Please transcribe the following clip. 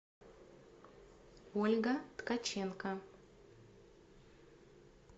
ольга ткаченко